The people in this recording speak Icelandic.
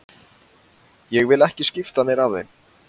Ég vil ekki skipta mér af þeim.